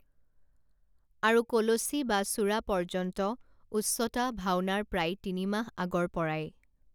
আৰু কলচি বা চূড়া পৰ্য্যন্ত উচ্চতা ভাওনাৰ প্ৰায় তিনি মাহ আগৰ পৰাই